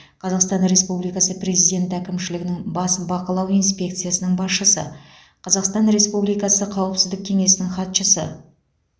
қазақстан республикасы президенті әкімшілігінің бас бақылау инспекциясының басшысы қазақстан республикасы қауіпсіздік кеңесінің хатшысы